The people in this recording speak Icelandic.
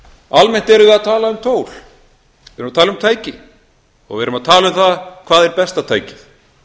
tól við erum að tala um tæki og við erum að tala um það hvað er besta tækið